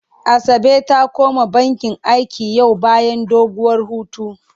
Asabe ta koma bakin aiki yau bayan doguwar hutu.